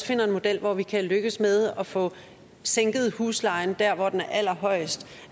finder en model hvor vi kan lykkes med at få sænket huslejen der hvor den er allerhøjest